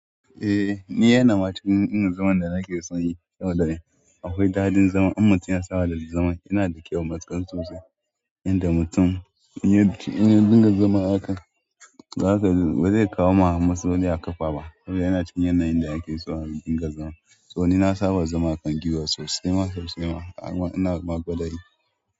Eh, ni yana ma cikin irin zaman da nake sonyi, saboda akwai daɗin zaman. In mutum ya saba da zaman yana da kyau matuƙar sosai, inda mutum. Inda dinga zaman aka, ba zai kawo ma matsaloli a ƙafa ba. Saboda yana cikin yanayin da ake so a dinga zaman. To ni na saba da zama akan giwa sosai ma sosai ma, amma ina ma gwadayi.